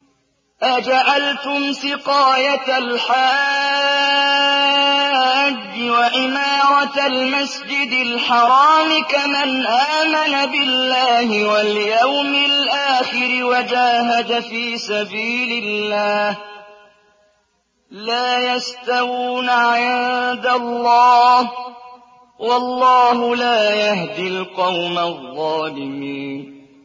۞ أَجَعَلْتُمْ سِقَايَةَ الْحَاجِّ وَعِمَارَةَ الْمَسْجِدِ الْحَرَامِ كَمَنْ آمَنَ بِاللَّهِ وَالْيَوْمِ الْآخِرِ وَجَاهَدَ فِي سَبِيلِ اللَّهِ ۚ لَا يَسْتَوُونَ عِندَ اللَّهِ ۗ وَاللَّهُ لَا يَهْدِي الْقَوْمَ الظَّالِمِينَ